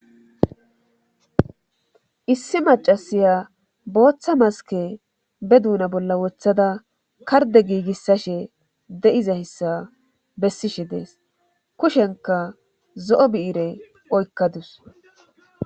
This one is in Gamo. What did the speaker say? Issi macasiya booththa maske be duuna bolla wothada karde giigissashe de7iza hissa bessishe dees kushenka zo7o biire oykkadus